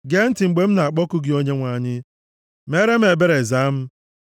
Gee ntị mgbe m na-akpọku gị Onyenwe anyị. Meere m ebere, zaa m.